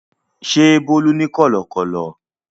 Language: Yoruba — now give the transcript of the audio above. Ṣé Bólú ní kọ̀lọ̀kọ́lọ̀?